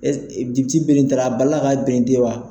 bere in taara a bali la ka berente wa?